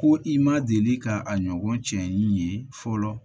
Ko i ma deli ka a ɲɔgɔn cɛ in ye fɔlɔ